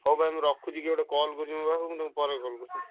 ହଉ ଭାଇ ମୁଁ ରଖୁଛି କିଏ ଗୁଟେ call କରୁଛି ମୋ ପାଖକୁ ତୁମକୁ ପରେ call କରୁଛି।